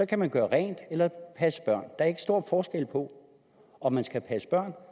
kan man gøre rent eller passe børn der er ikke stor forskel på om man skal passe børn